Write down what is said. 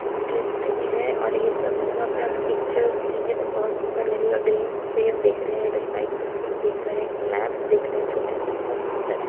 Interesting है और ये सब जगह पे आप पिक्चर्स लेंगे तो बहुत सुन्दर लगेगा ग्रीन पेड़ दिख रहे हैं इधर साइड से फूल दिख रहे एक लैंप दिख रहे है छोटे से बहुत सुन्दर है।